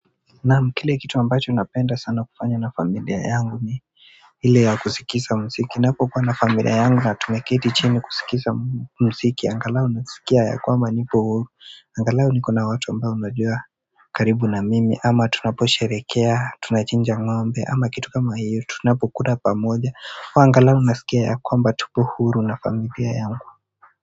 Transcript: Naam kile kitu ambacho napenda sana kufanya na familia yangu ni ile ya kusikiza mziki napokuwa na familia yangu na tumeketi chini kusikiza mziki angalau unasikia ya kwamba nipo huru angalau niko na watu ambao najua karibu na mimi ama tunaposherekea tunachinja ng'ombe ama kitu kama hiyo tunapokula pamoja au angalau nasikia ya kwamba tupo huru na familia yangu.